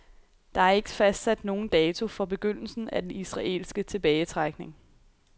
Der er ikke fastsat nogen dato for begyndelsen af den israelske tilbagetrækning.